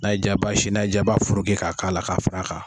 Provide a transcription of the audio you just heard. N'a y'i ja i b'a sin n'a y'i ja i b'a fororki k'a k'a la k'a far'a kan.